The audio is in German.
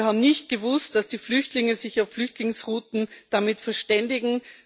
Wir haben nicht gewusst, dass die Flüchtlinge sich auf Flüchtlingsrouten damit verständigen.